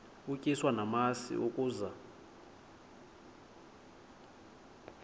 utyiswa namasi ukaze